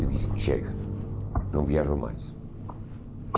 Eu disse, chega, não viajo mais.